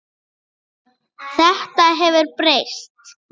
Þetta hefur breyst.